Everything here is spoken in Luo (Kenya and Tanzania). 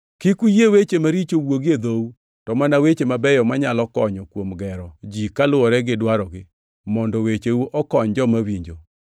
Kik uyie weche maricho wuogi e dhou, to mana weche mabeyo manyalo konyo kuom gero ji kaluwore gi dwarogi mondo wecheu okony joma winjo.